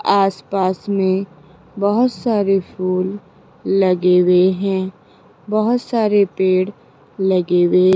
आस पास में बहोत सारे फूल लगे हुए हैं बहोत सारे पेड़ लगे हुए --